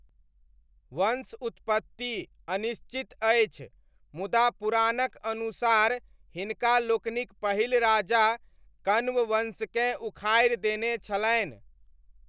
वंश उत्पत्ति अनिश्चित अछि, मुदा पुराणक अनुसार हिनका लोकनिक पहिल राजा कण्ववंशकेँ उखाड़ि देने छलनि।